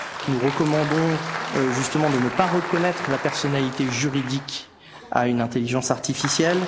Nous recommandons justement de ne pas reconnaître la personnalité juridique à une intelligence artificielle.